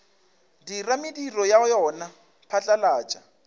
dira mediro ya yona phatlalatša